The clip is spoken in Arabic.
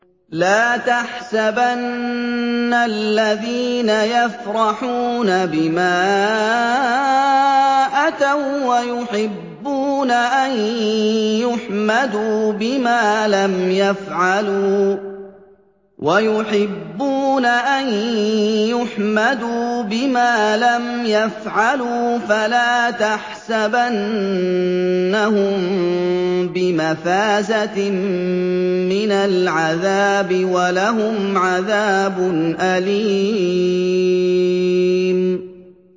لَا تَحْسَبَنَّ الَّذِينَ يَفْرَحُونَ بِمَا أَتَوا وَّيُحِبُّونَ أَن يُحْمَدُوا بِمَا لَمْ يَفْعَلُوا فَلَا تَحْسَبَنَّهُم بِمَفَازَةٍ مِّنَ الْعَذَابِ ۖ وَلَهُمْ عَذَابٌ أَلِيمٌ